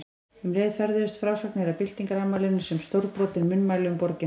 Um leið ferðuðust frásagnir af byltingarafmælinu sem stórbrotin munnmæli um borgina.